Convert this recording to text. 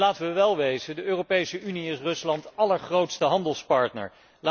En laten wij wel wezen, de Europese Unie is Ruslands allergrootste handelspartner.